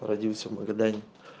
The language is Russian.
родился в магадане